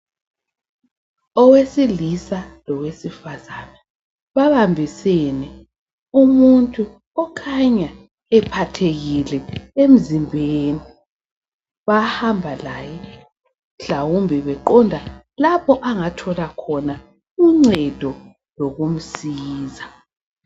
Owesilisa lowesifazane, babambisene umuntu okhanya ephathekile emzimbeni. Bahamba laye mhlawumbe beqonda lapho angathola khona uncedo lokumsiza.